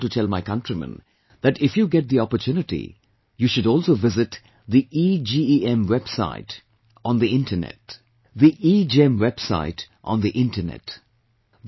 Here I want to tell my countrymen, that if you get the opportunity, you should also visit, the EGEM, EGEM website on the Internet